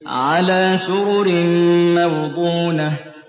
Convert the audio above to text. عَلَىٰ سُرُرٍ مَّوْضُونَةٍ